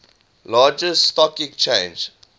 largest stock exchange